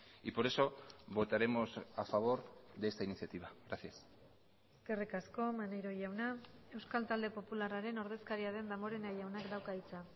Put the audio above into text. y por eso votaremos a favor de esta iniciativa gracias eskerrik asko maneiro jauna euskal talde popularraren ordezkaria den damborenea jaunak dauka hitza